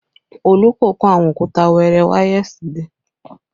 Olú kò kó àwọn òkúta wẹẹrẹ wá yesterday